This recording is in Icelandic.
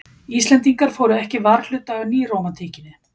Íslendingar fóru ekki varhluta af nýrómantíkinni.